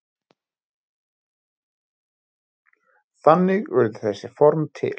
Þannig urðu þessi form til.